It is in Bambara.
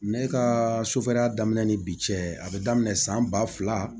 Ne ka sofɛriya daminɛ ni bi cɛ a bɛ daminɛ san ba fila